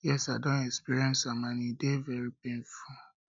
yes i don um experience am and e dey very painful